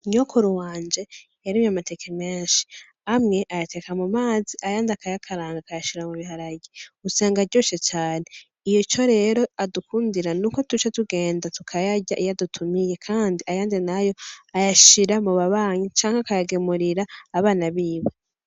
Nyokuru wanje yarimye amateke menshi, amwe ayateka mu mazi ayandi akayakaranga akayashira mu biharage usanga aryoshe cane. Ico rero adukundira nuko tuca tugenda tukayarya iyo adutumiye, kandi ayandi nayo ayashira mu babanyi canke akayagemurira abana biwe.